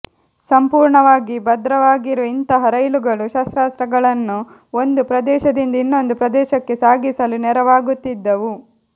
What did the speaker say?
ಸಂಪೂರ್ಣವಾಗಿ ಭದ್ರವಾಗಿರುವ ಇಂತಹ ರೈಲುಗಳು ಶಸ್ತ್ರಾಸ್ತ್ರಗಳನ್ನು ಒಂದು ಪ್ರದೇಶದಿಂದ ಇನ್ನೊಂದು ಪ್ರದೇಶಕ್ಕೆ ಸಾಗಿಸಲು ನೆರವಾಗುತ್ತಿದ್ದವು